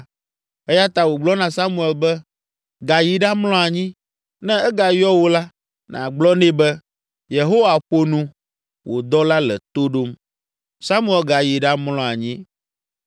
eya ta wògblɔ na Samuel be, “Gayi ɖamlɔ anyi; ne egayɔ wò la, nàgblɔ nɛ be, ‘Yehowa ƒo nu, wò dɔla le to ɖom.’ ” Samuel gayi ɖamlɔ anyi.